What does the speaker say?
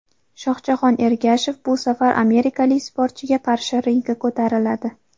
Shohjahon Ergashev bu safar amerikalik sportchiga qarshi ringga ko‘tariladi.